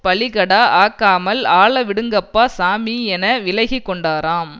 பலிகடா ஆக்காமல் ஆள விடுங்கப்பா சாமி என விலகி கொண்டாராம்